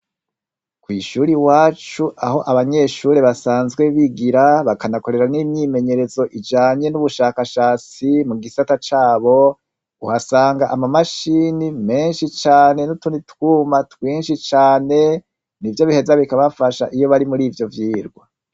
Kw' ishuri iwacu aho abanyeshure basanzwe bigira, bakanahakorera n' imyimenyerezo ijanye n' ubushakashatsi, mu gisata cabo, uhasanga ama mashini menshi cane n' utundi twuma twinshi cane, nivyo biheza bikabafasha iyo bari muri ivyo vyirwa.